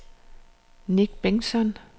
Nick Bengtsson